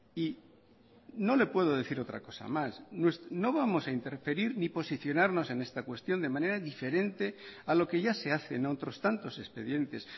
y no le puedo decir otra cosa más no vamos a interferir ni posicionarnos en esta cuestión de manera diferente a lo que ya se hace en otros tantos expedientes